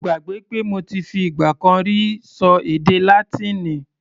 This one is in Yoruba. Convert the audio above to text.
Mo gbàgbé pé mo ti fi ìgbà kan rí ṣọ èdè Látíìnì.